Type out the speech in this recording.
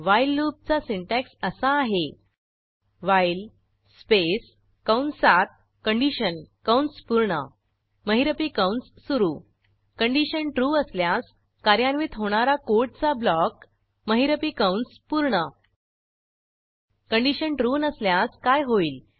while लूपचा syntax असा आहे व्हाईल स्पेस कंसात कंडिशन कंस पूर्ण महिरपी कंस सुरू कंडिशन ट्रू ट्रू असल्यास कार्यान्वित होणारा कोडचा ब्लॉक महिरपी कंस पूर्ण कंडिशन ट्रू नसल्यास काय होईल